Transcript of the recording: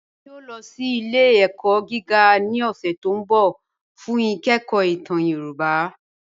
Ẹ̀mí yòò lọ sí ilẹ̀-ẹ̀kọ̀ gígà ní ọ̀ṣẹ̀ tí n bọ̀ fún ìkẹ̀kọ̀ ìtàn Yorùbá.